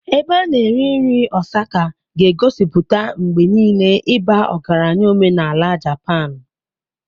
Ebe a na-eri nri Osaka ga-egosipụta mgbe niile ịba ọgaranya omenala Japanu.